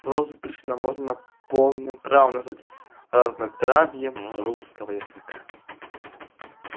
прозу пришвина можно полным правом назвать разнотравьем русского языка